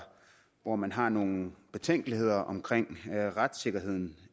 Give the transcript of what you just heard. hvor man har nogle betænkeligheder omkring retssikkerheden